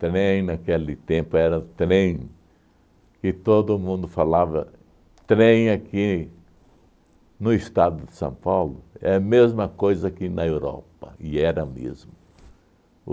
trem, naquele tempo era trem, que todo mundo falava trem aqui no estado de São Paulo, é a mesma coisa que na Europa, e era mesmo.